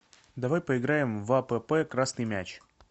давай поиграем в апп красный мяч